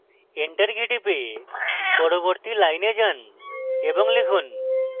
enter key type পরবর্তী line যান এবং লিখুন: